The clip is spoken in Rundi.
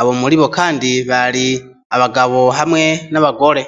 ,abo muri bo kandi bari abagabo hamwe n'abagore.